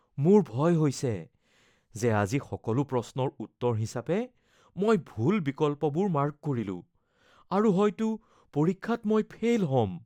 মোৰ ভয় হৈছে যে আজি সকলো প্ৰশ্নৰ উত্তৰ হিচাপে মই ভুল বিকল্পবোৰ মাৰ্ক কৰিলোঁ আৰু হয়তো পৰীক্ষাত মই ফেইল হ'ম।